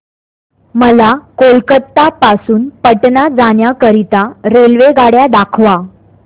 मला कोलकता पासून पटणा जाण्या करीता रेल्वेगाड्या दाखवा